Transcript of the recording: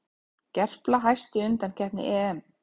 Gerpla hæst í undankeppni EM